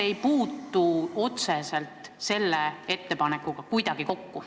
Sellepärast, et need ei puutu otseselt selle ettepaneku teemaga kuidagi kokku.